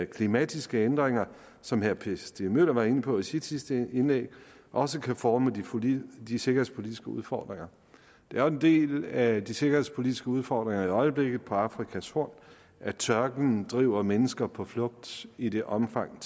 klimatiske ændringer som herre per stig møller var inde på i sit sidste indlæg også kan forme de sikkerhedspolitiske udfordringer det er jo en del af de sikkerhedspolitiske udfordringer i øjeblikket på afrikas horn at tørken driver mennesker på flugt i det omfang